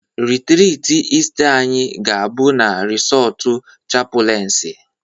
Rịtrịtị Ịsta anyị ga-abụ na resọọtụ chapụlensi